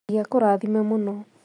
Ngai akũrathime mũno